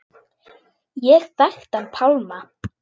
Ég þekkti hann Pálma.